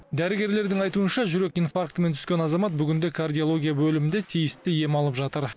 дәрігерлердің айтуынша жүрек инфарктімен түскен азамат бүгінде кардиология бөлімінде тиісті ем алып жатыр